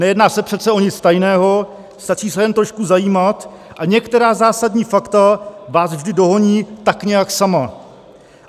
Nejedná se přece o nic tajného, stačí se jen trošku zajímat a některá zásadní fakta váš vždy dohoní tak nějak sama.